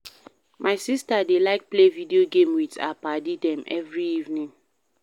My sista dey like play video game wit her paddy dem every evening.